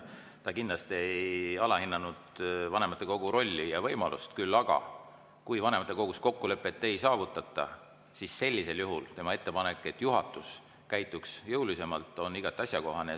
Ta kindlasti ei alahinnanud vanematekogu rolli ja võimalust, küll aga, kui vanematekogus kokkulepet ei saavutata, siis sellisel juhul tema ettepanek, et juhatus käituks jõulisemalt, on igati asjakohane.